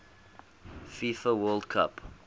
fifa world cup